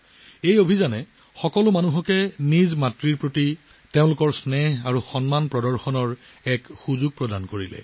এই অভিযানে সকলোকে মাতৃৰ প্ৰতি থকা মৰম দেখুৱাবলৈ সুযোগ দিছে